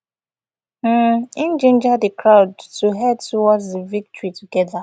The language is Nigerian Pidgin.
um im ginger di crowd to head towards di victory togeda